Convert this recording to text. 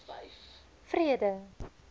vrede